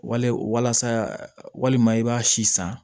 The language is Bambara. Wale walasa walima i b'a si san